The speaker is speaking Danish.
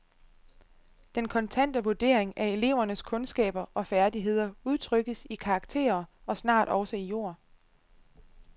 Den kontante vurdering af elevernes kundskaber og færdigheder udtrykkes i karakterer og snart også i ord.